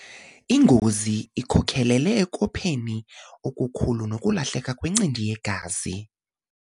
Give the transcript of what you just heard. Ingozi ikhokelele ekopheni okukhulu nokulahleka kwencindi yegazi.